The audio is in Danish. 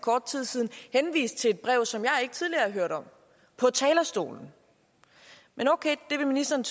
kort tid siden henviste til et brev som jeg ikke tidligere har hørt om på talerstolen men okay det vil ministeren